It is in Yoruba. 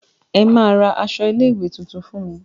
Ẹ máa ra aṣọ ilé ìwé tuntun fún me.